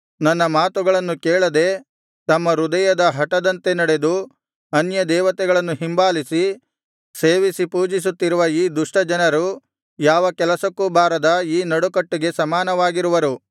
ನನ್ನ ಮಾತುಗಳನ್ನು ಕೇಳದೆ ತಮ್ಮ ಹೃದಯದ ಹಟದಂತೆ ನಡೆದು ಅನ್ಯದೇವತೆಗಳನ್ನು ಹಿಂಬಾಲಿಸಿ ಸೇವಿಸಿ ಪೂಜಿಸುತ್ತಿರುವ ಈ ದುಷ್ಟ ಜನರು ಯಾವ ಕೆಲಸಕ್ಕೂ ಬಾರದ ಈ ನಡುಕಟ್ಟಿಗೆ ಸಮಾನವಾಗಿರುವರು